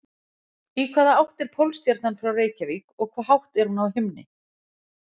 Í hvaða átt er Pólstjarnan frá Reykjavík og hve hátt er hún á himni?